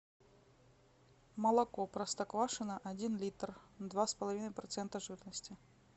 молоко простоквашино один литр два с половиной процента жирности